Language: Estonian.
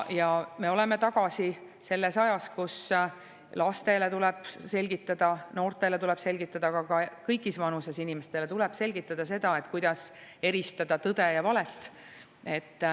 Ja me oleme tagasi selles ajas, kus lastele tuleb selgitada, noortele tuleb selgitada, aga ka kõigis vanuses inimestele tuleb selgitada seda, kuidas eristada tõde ja valet.